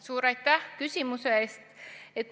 Suur aitäh küsimuse eest!